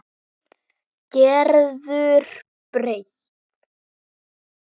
Gerður breytt.